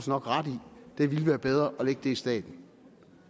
nok ret i det ville være bedre at lægge det i staten